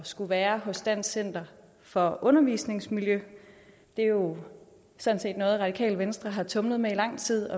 skulle være hos dansk center for undervisningsmiljø det er jo sådan set noget radikale venstre har tumlet med i lang tid